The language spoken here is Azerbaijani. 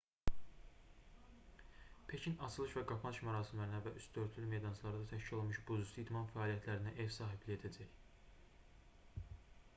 pekin açılış və qapanış mərasimlərinə və üstü örtülü meydançalarda təşkil olunmuş buzüstü idman fəaliyyətlərinə ev sahibliyi edəcək